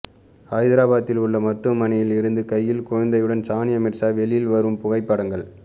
ஐதராபாத்தில் உள்ள மருத்துவனையில் இருந்து கையில் குழந்தையுடன் சானியா மிர்ஸா வெளியில் வரும் புகைப்படங்கள்